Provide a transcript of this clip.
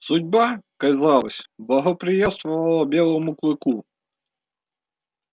судьба казалось благоприятствовала белому клыку